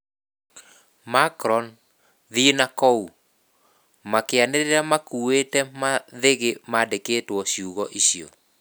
"Macron, thie nakou" makianiriraa makuĩte mathĩgĩ maandikĩtwo ciugo icio